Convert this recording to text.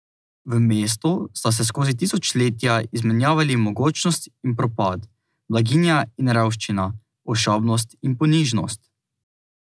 V mestu sta se skozi tisočletja izmenjavali mogočnost in propad, blaginja in revščina, ošabnost in ponižnost.